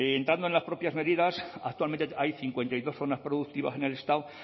entrando en las propias medidas actualmente hay cincuenta y dos zonas productivas en el estado